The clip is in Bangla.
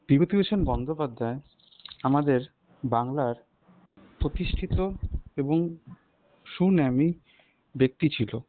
বিভূতিভূষণ বন্দ্যোপাধ্যায় আমাদের বাংলার প্রতিষ্ঠিত এবং সুনামী ব্যাক্তি ছিল